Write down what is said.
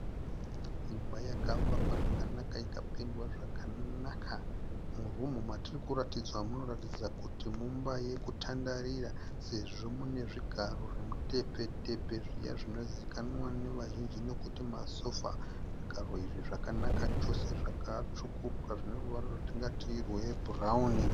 Imba yakavakwa zvakanaka ika pendwa zvakanaka. Murumu matiri kuratidzwa munoratidza kuti mumba yekutandarira. Sezvo mune zvigaro zvemu tepfe-tepfe zviya zvinozivikanwa nevazhinji nekuti masofa. Zvigaro izvi zvakanaka chose zvaka tsvukuruka zvineruvara rwatingati rwe bhurauni.